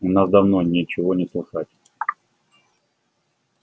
у нас давно ничего не слыхать